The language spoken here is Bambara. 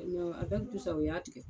E mɛ awɛki tu sa u y'a tigɛ